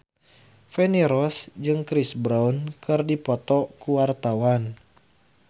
Feni Rose jeung Chris Brown keur dipoto ku wartawan